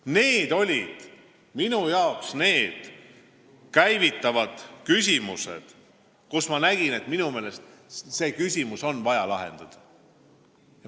Need olid minu arvates käivitavad küsimused, mis minu meelest on vaja lahendada.